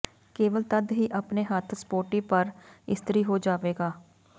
ਕੇਵਲ ਤਦ ਹੀ ਆਪਣੇ ਹੱਥ ਸਪੋਰਟੀ ਪਰ ਇਸਤਰੀ ਹੋ ਜਾਵੇਗਾ